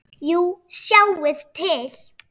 Jú, sjáið til.